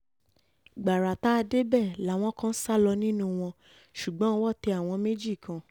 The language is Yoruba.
gbàrà tá a débẹ̀ làwọn kan sá lọ nínú wọn ṣùgbọ́n owó tẹ àwọn méjì kan